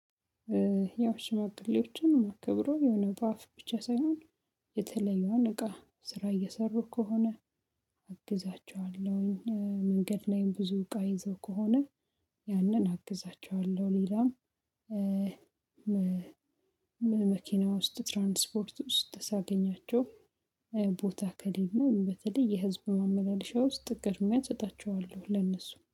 ያው ሽማግሌዎችን ማከብረው የሆነ በአፍ ብቻ ሳይሆን የተለየውን እቃ ስራ እየሰሩ ከሆነ አግዛቸዋለሁኝ መንገድ ላይም ብዙ እቃ ይዘው ከሆነ ያንን አግዛቸዋለሁ። ሌላም መኪና ውስጥ ትራንስፖርት ዉስጥ ሳገኛቸው ቦታ ከሌለ በተለይ የህዝብ ማመላለሻ ውስጥ ቅድሚያ እሰጣቸዋለሁ ለእነሱ